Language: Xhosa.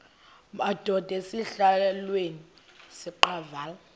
madod asesihialweni sivaqal